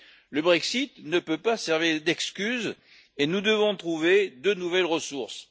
Le Brexit ne peut pas servir d'excuse, et nous devons trouver de nouvelles ressources.